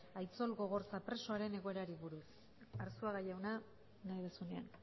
aitzol gogorza presoaren egoerari buruz arzuaga jauna nahi duzunean